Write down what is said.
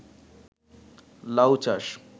লাউ চাষ